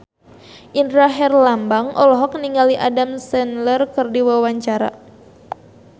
Indra Herlambang olohok ningali Adam Sandler keur diwawancara